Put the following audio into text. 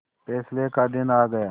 फैसले का दिन आ गया